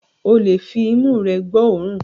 Ó lè fi imú rẹ gbọ́ òórùn